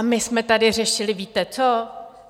A my jsme tady řešili - víte co?